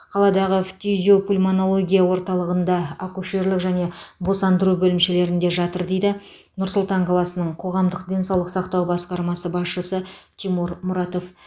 қаладағы фтизиопульмонология орталығында акушерлік және босандыру бөлімшелерінде жатыр дейді нұр сұлтан қаласының қоғамдық денсаулық сақтау басқармасы басшысы тимур мұратов